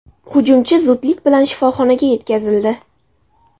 Hujumchi zudlik bilan shifoxonaga yetkazildi.